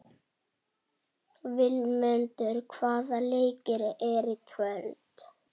Vilmundur, hvaða leikir eru í kvöld?